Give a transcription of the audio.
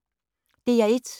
DR1